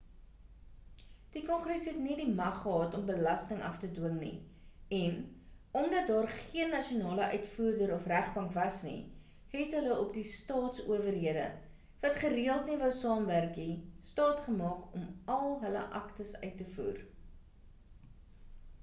die kongres het nie die mag gehad om belasting af te dwing nie en omdat daar geen nasionale uitvoerder of regbank was nie het hulle op die staats-owerhede wat gereeld nie wou saamwerk nie staatgemaak om all hulle aktes uit te voer